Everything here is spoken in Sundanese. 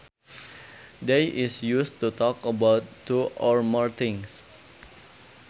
They is used to talk about two or more things